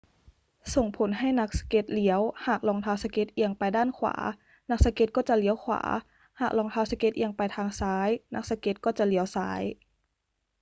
ส่งผลให้นักสเก็ตเลี้ยว หากรองเท้าสเก็ตเอียงไปด้านขวา นักสเก็ตก็จะเลี้ยวขวา หากรองเท้าสเก็ตเอียงไปทางซ้าย นักสเก็ตก็จะเลี้ยวซ้าย